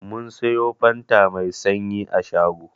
Mun siyo fanta Mai sanyi a shago.